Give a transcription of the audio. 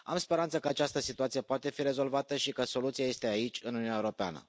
Am speranța că această situație poate fi rezolvată și că soluția este aici, în Uniunea Europeană.